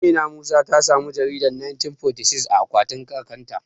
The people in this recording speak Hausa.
Amina Musa ta samu jaridar 1946 a akwatin kakan ta